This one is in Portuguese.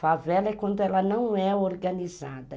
Favela é quando ela não é organizada.